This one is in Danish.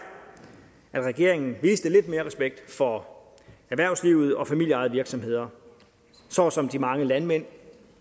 at regeringen viste lidt mere respekt for erhvervslivet og familieejede virksomheder såsom de mange landmænd